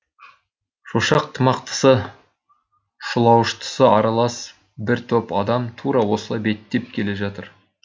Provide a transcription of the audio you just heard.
шошақ тымақтысы шұлауыштысы аралас бір топ адам тура осылай беттеп келе жатыр